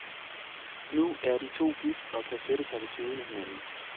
Nu er de to gift og kan sætte sig ved siden af hinanden.